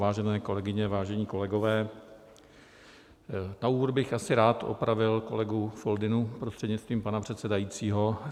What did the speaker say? Vážené kolegyně, vážení kolegové, na úvod bych asi rád opravil kolegu Foldynu, prostřednictvím pana předsedajícího.